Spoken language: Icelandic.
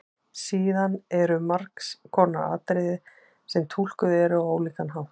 Síðan eru margs konar atriði sem túlkuð eru á ólíkan hátt.